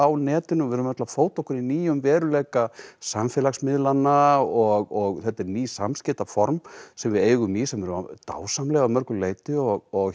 netinu og við erum öll að fóta okkur í nýjum veruleika samfélagsmiðlanna og þetta eru ný samskiptaform sem við eigum í sem eru dásamleg að mörgu leyti og